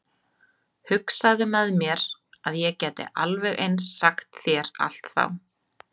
Hugsaði með mér að ég gæti alveg eins sagt þér allt þá.